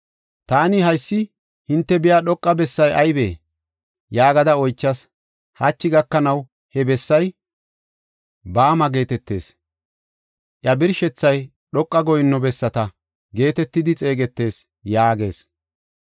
Taani, ‘Haysi hinte biya dhoqa bessay aybee?’ yaagada oychas. Hachi gakanaw he bessay ‘Bama’ geetetees iya birshethay ‘Dhoqa Goyinno Bessata’ geetetidi xeegetees” yaagees.